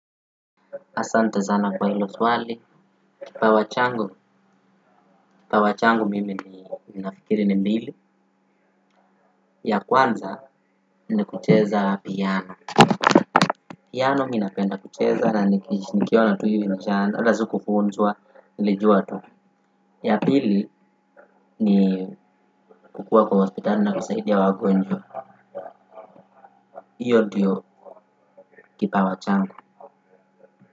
Asante zana kwa hilo swali kipawa changu, kipawa changu mimi ninafikiri ni mbili ya kwanza ni kucheza piano. Piano miminapenda kucheza na nikijishinikiona tuyu inijanda olazu kufunzwa nilijua tu ya pili ni kukuwa kwa hospitali na kusaidia wagonjwa hiyo ndiyo kipawa changu.